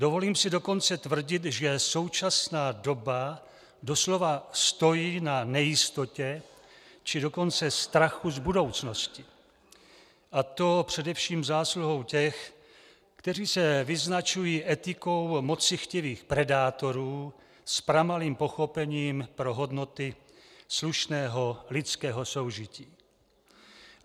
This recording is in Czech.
Dovolím si dokonce tvrdit, že současná doba doslova stojí na nejistotě, či dokonce strachu z budoucnosti, a to především zásluhou těch, kteří se vyznačují etikou mocichtivých predátorů s pramalým pochopením pro hodnoty slušného lidského soužití.